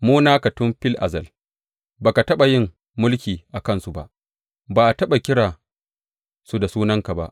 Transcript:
Mu naka tun fil azal; ba ka taɓa yin mulki a kansu ba, ba a taɓa kira su da sunanka ba.